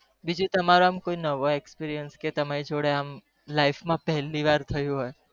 બીજી ત્મએઓ કોઈ અનુભાવ જે તમરી જોડે પેલી વાર થયું હોય